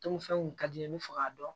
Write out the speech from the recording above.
Dunfɛnw kun ka di n ye n bɛ fɛ k'a dɔn